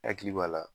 Hakili b'a la